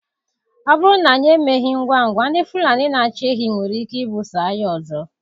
Ọ bụrụ na anyị emeghị ngwa ngwa, ndị Fulani na-achị ehi nwere ike ibuso agha ọzọ.